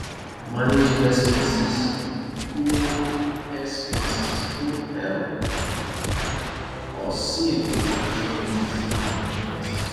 managing expenses go expenses go help us save for future needs and emergencies